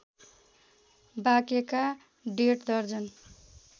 बाँकेका डेढ दर्जन